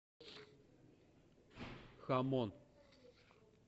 хамон